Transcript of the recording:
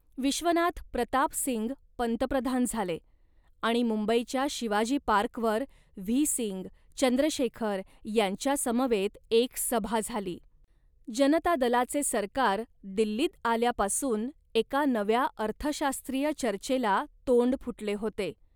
विश्वनाथ प्रताप सिंग पंतप्रधान झाले आणि मुंबईच्या शिवाजी पार्कवर व्ही सिंग, चंद्रशेखर यांच्यासमवेत एक सभा झाली. जनता दलाचे सरकार दिल्लीत आल्यापासून एका नव्या अर्थशास्त्रीय चर्चेला तोंड फुटले होते